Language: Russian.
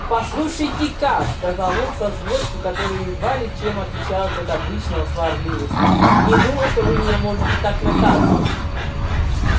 послушайте-ка сказал он со злостью которая едва ли чем отличалась от обычного сварливости не думаю что вы меня можете так наказывать